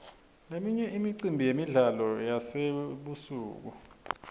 leminye imicimbi yemidlalo yasebusuku